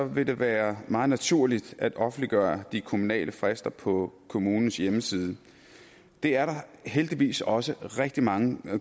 vil det være meget naturligt at offentliggøre de kommunale frister på kommunens hjemmeside det er der heldigvis også rigtig mange